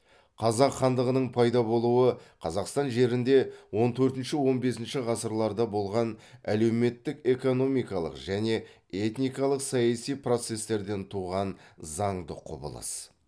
қазақ хандығының пайда болуы қазақстан жерінде он төртінші он бесінші ғасырларда болған әлеуметтік экономикалық және этникалық саяси процестерден туған заңды құбылыс